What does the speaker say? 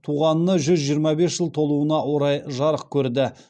туғанына жүз жиырма бес жыл толуына орай жарық көрді